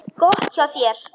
Gott hjá þér.